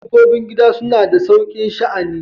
Dabbobin gida suna da saukin sha'ani.